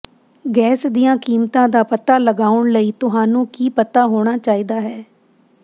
gas ਦੀਆਂ ਕੀਮਤਾਂ ਦਾ ਪਤਾ ਲਗਾਉਣ ਲਈ ਤੁਹਾਨੂੰ ਕੀ ਪਤਾ ਹੋਣਾ ਚਾਹੀਦਾ ਹੈ